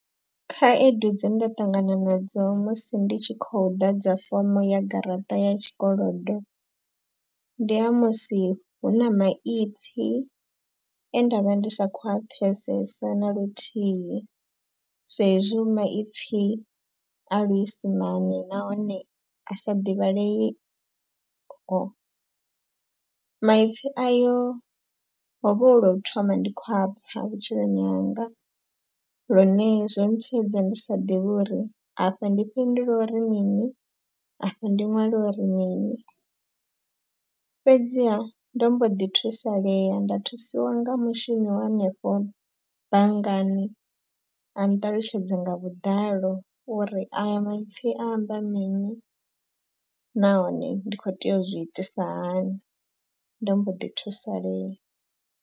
Khaedu dze nda ṱangana nadzo musi ndi tshi khou ḓadza fomo ya garaṱa ya tshikolodo ndi ha musi hu na maipfi e nda vha ndi sa khou pfesesa na luthihi. Sa ezwi maipfi a luisimane nahone a sa divhaleiho, maipfi ayo hovha hu lwo thoma ndi kho apfa vhutshiloni hanga. Lune zwo ntsiedza ndi sa ḓivhi uri afha ndi fhindule uri mini afha ndi ṅwale uri mini. Fhedziha ndo mbo ḓi thusalea nda thusiwa nga mushumi wa henefho banngani a nṱalutshedze nga vhuḓalo uri aya maipfi a amba mini nahone ndi khou tea uzwi itisa hani nda mbo ḓi thusalea.